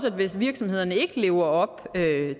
at hvis virksomhederne ikke lever op